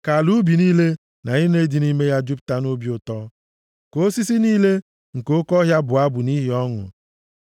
Ka ala ubi niile na ihe niile dị nʼime ha jupụta nʼobi ụtọ. Ka osisi niile nke oke ọhịa bụọ abụ nʼihi ọṅụ.